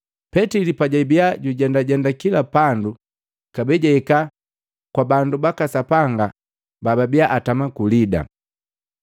Petili pajabia jujendajenda kila pandu, kabee jahika kwa bandu baka Sapanga bababia atama ku Lida.